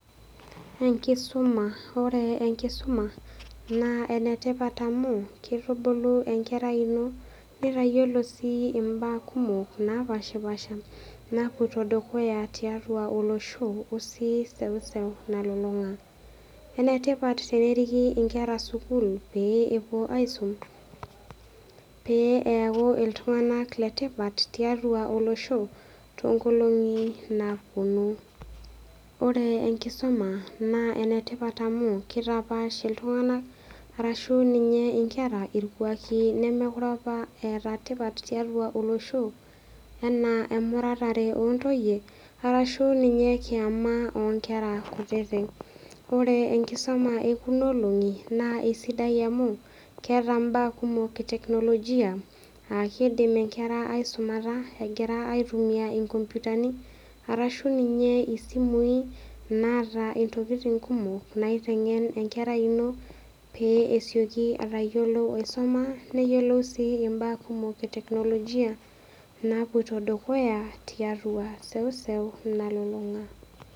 Enkisuma, ore enkisuma naa enetipat amu kitubulu enkerai ino ,nitayiolo si imbaa kumok napashapasha napoito dukuya tiatua olosho oseuseu nalulung'a . Enetipat teneriki inkera sukul pee epuo aisum pee eaku iltung'anak letipat tiatua olosho tonkolong'i napuonu , ore enkisuma naa entipat amu kitapaasha iltung'anak arashu irkwaki lemekure apa eeta tipat tiatua olosho enaa emuratare ontoyie arashu ninye kiama onkera kutitik . Ore enkisuma ekuna olong'i naa isidai amu keeta mbaa ee teknolojia aa kidim inkera aisuma egira aitumia nkomputani arashu ninye isimui naata ntokitin kumok naiteng'en enkerai ino pee esioki aisoma neyieolou sii imbaa kumok ee teknolojia napoito dukuya tiatua seuseu nalulung'a.